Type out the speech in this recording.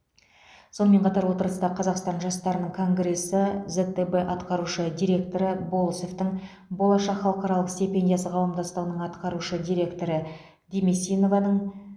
сонымен қатар отырыста қазақстан жастарының конгресі зтб атқарушы директоры болысовтың болашақ халықаралық стипендиясы қауымдастығының атқарушы директоры демесинованың